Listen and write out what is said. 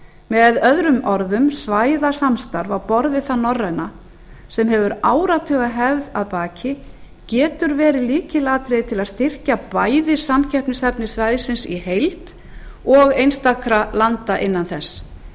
með öðrum orðum svæðasamstarf á borð við það norræna sem hefur áratugahefð að baki getur verið lykilatriði til að styrkja bæði samkeppnishæfni svæðisins í heild og einstakra landa innan þess